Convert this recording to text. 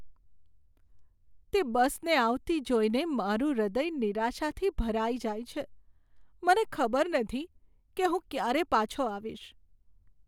તે બસને આવતી જોઈને મારું હૃદય નિરાશાથી ભરાઈ જાય છે. મને ખબર નથી કે હું ક્યારે પાછો આવીશ.